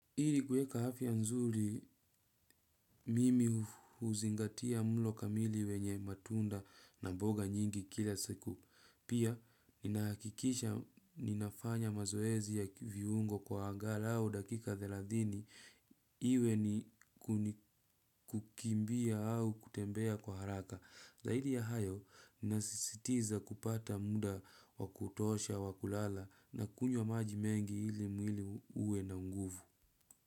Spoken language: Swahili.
Hili kuweka afya nzuri, mimi huzingatia mlo kamili wenye matunda na mboga nyingi kila siku. Pia, ninahakikisha ninafanya mazoezi ya viungo kwa angalau dakika thelathini iwe ni kukimbia au kutembea kwa haraka. Zaidi ya hayo, ninasisitiza kupata muda wakutosha wakulala na kunywa maji mengi ili mwili uwe na nguvu.